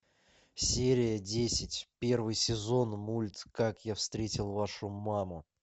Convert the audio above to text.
серия десять первый сезон мульт как я встретил вашу маму